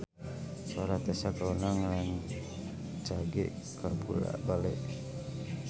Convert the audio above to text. Sora Tessa Kaunang rancage kabula-bale